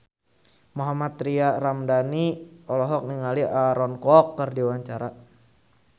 Mohammad Tria Ramadhani olohok ningali Aaron Kwok keur diwawancara